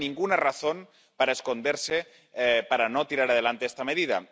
No hay ninguna razón para esconderse, para no sacar adelante esta medida.